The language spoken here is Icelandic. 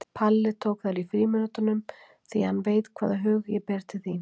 Palli tók þær í frímínútunum því hann veit hvaða hug ég ber til þín.